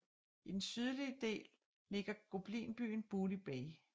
I den sydlige del ligger goblinbyen Booty Bay